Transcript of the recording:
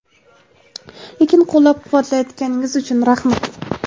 lekin qo‘llab quvvatlayotganingiz uchun rahmat.